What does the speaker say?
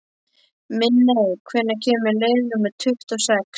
Minney, hvenær kemur leið númer tuttugu og sex?